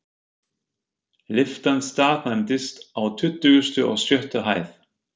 Lyftan staðnæmdist á tuttugustu og sjöttu hæð.